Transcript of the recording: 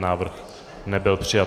Návrh nebyl přijat.